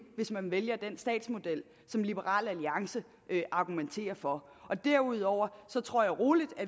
hvis man vælger den statsmodel som liberal alliance argumenterer for derudover tror jeg rolig